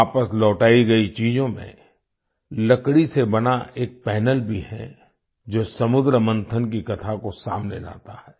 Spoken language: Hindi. वापस लौटाई गई चीजों में लकड़ी से बना एक पैनल भी है जो समुद्रमंथन की कथा को सामने लाता है